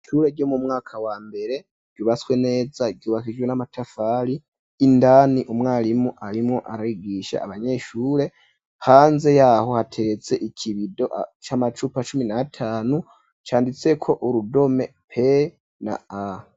Ishure ryo mu mwaka wa mbere ryubaswe neza ryubakishijwe n'amatafari indani umwarimu arimwo arayigisha abanyeshure pannde yaho hateretse ikibido c'amacupa cumi na tanu canditseko urudome p na a.